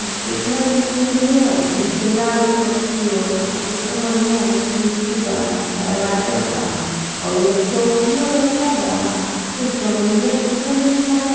केतना निक बिल्डिंग बा। नीचे लाल ऊपर पियर आ केतना बढ़ियां ओहर खिड़की बा दरवाजा बा और एगो चौकियों रखल बा आ कुल जमीनिया केतना निक लाग --